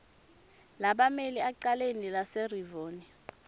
lebammeli ecaleni laserivonia